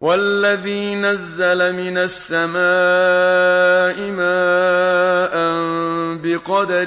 وَالَّذِي نَزَّلَ مِنَ السَّمَاءِ مَاءً بِقَدَرٍ